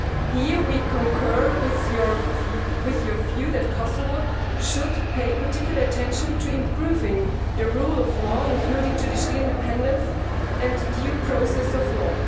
Here we concur with your view that Kosovo should pay particular attention to improving the rule of law, including traditional independence and due process of law.